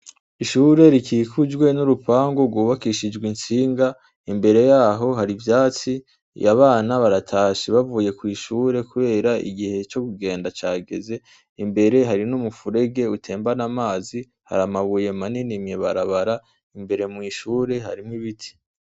Ishure rikikujwe n' urupangu gwubakishijwe intsinga imbere yaho hari ivyatsi abana baratashe bavuye kwi shure kubera igihe co kugenda cageze imbere hari n' umufurege utembana amazi hari amabuye manini mwi barabara imbere mwi shure harimwo ibiti.